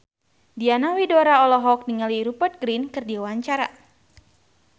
Diana Widoera olohok ningali Rupert Grin keur diwawancara